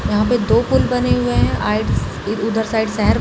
यहाँ पे दो पूल बने हुए है अ उधर साइड शहर --